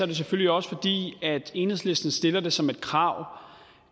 det selvfølgelig også fordi enhedslisten stiller det som krav